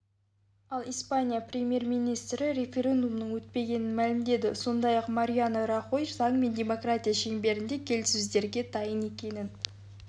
ал испания премьер-министрі референдумның өтпегенін мәлімдеді сондай-ақ мариано рахой заң мен демократия шеңберінде келіссөздерге дайын екенін